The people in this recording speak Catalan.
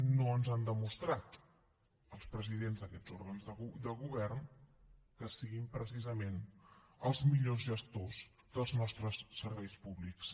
no ens han demostrat els presidents d’aquests òrgans de govern que siguin precisament els millors gestors dels nostres serveis públics